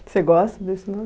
Você gosta desse nome?